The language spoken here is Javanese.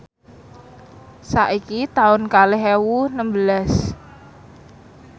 saiki taun kalih ewu nembelas